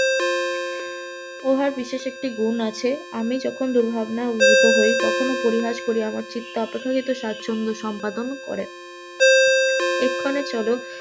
উহার বিশ্বাসের একটি গুণ আছে আমি যখন দুর্ভাবনায় উদ্ভুত হই তখন ও পরিহাস করিয়া আমার চিত্ত অপেক্ষাকৃত স্বাছন্দ সম্পাদন ও করে, এক্ষণে চল,